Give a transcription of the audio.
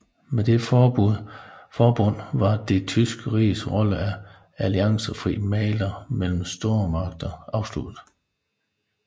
Med dette forbund var det tyske riges rolle som alliancefri mægler mellem stormagterne afsluttet